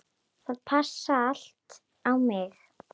Það passaði allt á mig.